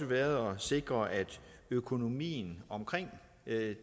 været at sikre at økonomien omkring